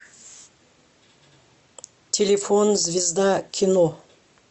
телефон звезда кино